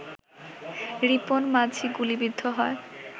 রিপন মাঝি গুলিবিদ্ধ হয়